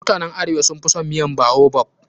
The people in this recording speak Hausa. Mutanen arewa sun fi son miyan baobab.